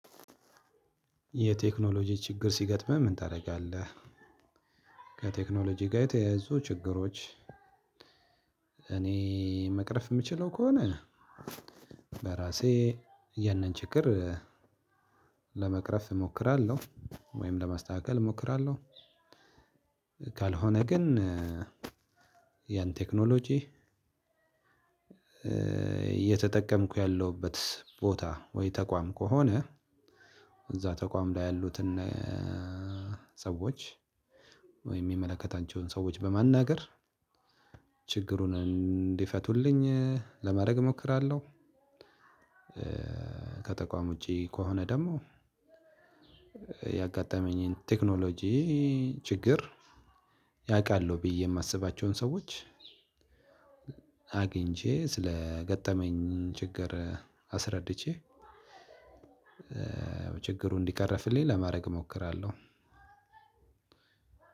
የቴክኖሎጂ ችግር ሲገጥምህ ምን ታደርጋለህ? ከቴክኖሎጂ ጋር የተያያዙ ችግሮች። እኔ መቅረፍ የምችለው ከሆነ በራሴ ያንን ችግር ለመቅረፍ እሞክራለሁ ወይም ለማስተካከል እሞክራለሁ። ካልሆነ ግን ያን ቴክኖሎጂ እየተጠቀምኩ ያለሁበት ቦታ ወይ ተቋም ከሆነ እዛ ተቋም ላይ ያሉትን ሰዎች ወይ የሚመለከታቸውን ሰዎች በማናገር ችግሩን እንዲፈቱልኝ ለማድረግ እሞክራለሁ። ከተቋም ውጪ ከሆነ ደግሞ። ያጋጠመኝን ቴክኖሎጂ ችግር ያውቃሉ ብዬ የማስባቸውን ሰዎች አግኝቼ ስለገጠመኝ ችግር አስረድቼ። ችግሩን እንዲቀረፍልኝ ለማድረግ እሞክራለሁ።